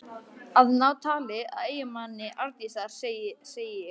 Að ná tali af eiginmanni Arndísar, segi ég.